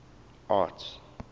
arts